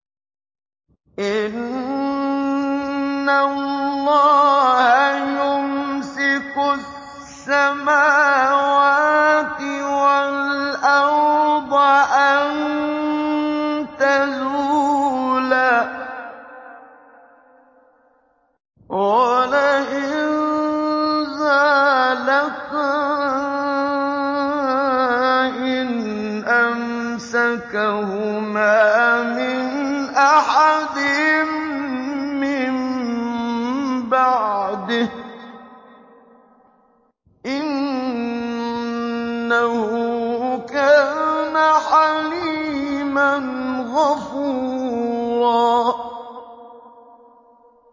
۞ إِنَّ اللَّهَ يُمْسِكُ السَّمَاوَاتِ وَالْأَرْضَ أَن تَزُولَا ۚ وَلَئِن زَالَتَا إِنْ أَمْسَكَهُمَا مِنْ أَحَدٍ مِّن بَعْدِهِ ۚ إِنَّهُ كَانَ حَلِيمًا غَفُورًا